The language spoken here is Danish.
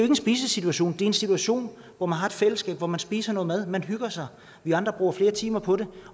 en spisesituation det er en situation hvor man har et fællesskab hvor man spiser noget mad man hygger sig vi andre bruger flere timer på det